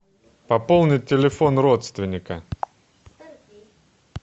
пополнить телефон родственника